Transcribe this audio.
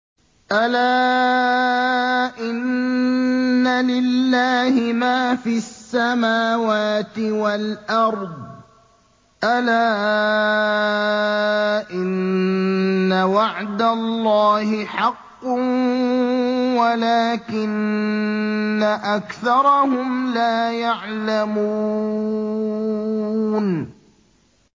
أَلَا إِنَّ لِلَّهِ مَا فِي السَّمَاوَاتِ وَالْأَرْضِ ۗ أَلَا إِنَّ وَعْدَ اللَّهِ حَقٌّ وَلَٰكِنَّ أَكْثَرَهُمْ لَا يَعْلَمُونَ